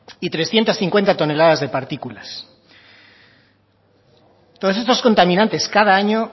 y trescientos cincuenta toneladas de partículas todos estos contaminantes cada año